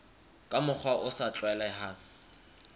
ka mokgwa o sa tlwaelehang